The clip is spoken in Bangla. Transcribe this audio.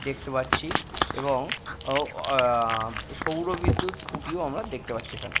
দেখতে পাচ্ছি এবং ও-হ সৌর বিদ্যুৎ খুটিও আমরা দেখতে পাচ্ছি এখানে।